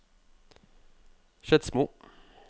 Skedsmo